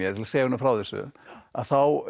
segja honum frá þessu að þá